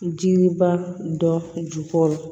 Jiriba dɔ ju kɔrɔ